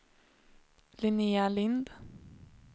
Linnéa Lindh